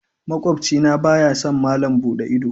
Makwabci na baya son malam buɗe ido.